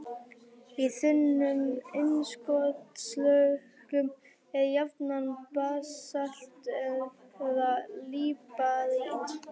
Í þunnum innskotslögum er jafnan basalt eða líparít.